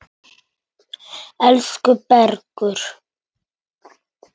Elsku Bergur.